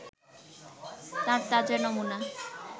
তার তাজা নমুনা